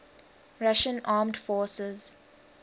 russian armed forces